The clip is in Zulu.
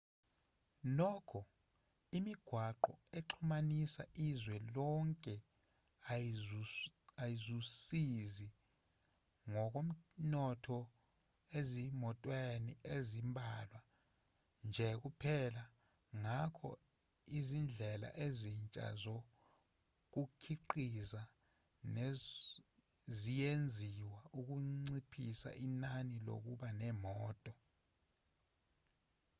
nokho imigwaqo exhumanisa izwe lonke ayizuzisi ngokomnotho ezimotweni ezimbalwa nje kuphela ngakho izindlela ezintsha zokukhiqiza ziyenziwa ukunciphisa inani lokuba nemoto